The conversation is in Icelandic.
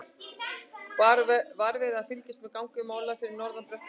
Var verið að fylgjast með gangi mála fyrir norðan á bekknum?